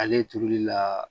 Ale turuli la